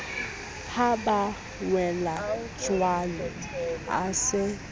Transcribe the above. ha ba welajwalo a se